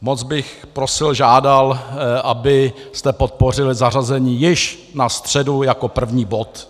Moc bych prosil, žádal, abyste podpořili zařazení již na středu jako první bod.